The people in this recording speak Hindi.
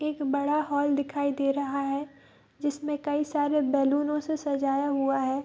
एक बड़ा हॉल दिखाई दे रहा है जिसमे कई सारे बैलूनो से सजाया हुआ है ।